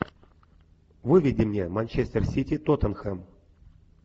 выведи мне манчестер сити тотенхем